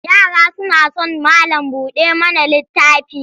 Yara suna son malam-buɗa-mana-littafi.